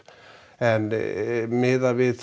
en miðað við